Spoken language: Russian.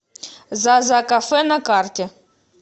зазакафе на карте